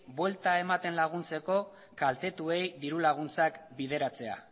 buelta ematen laguntzeko kaltetuei dirulaguntzak bideratzea